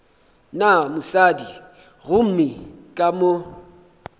na mosadi gomme ka mo